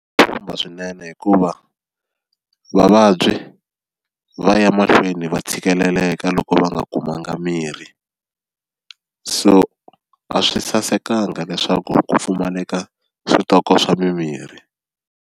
Khumba swinene hikuva vavabyi va ya mahlweni va tshikeleleka loko va nga kumanga mirhi, so a swi sasekanga leswaku ku pfumaleka switoko swa mimirhi.